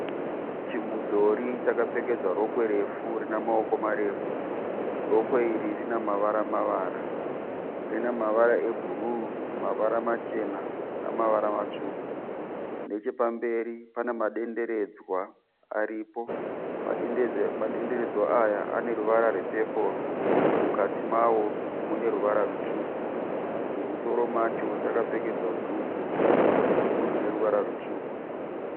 Chimudhori chakapfekedzwa rokwe refu rine maoko marefu. Rokwe iri rine mavara mavara. Rine mavara ebhuruu, mavara machena namavara matsvuku. Nechepamberi pane madenderedzwa aripo, madenderedzwa aya ane ruvara rwepepuru mukati mawo mune ruvara rutsvuku. Mumusoro macho chakapfekedzwa dhuku, dhuku rine ruvara rutsvuku.